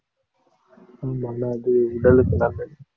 ஆமால்ல அது உடலுக்கு நல்லது.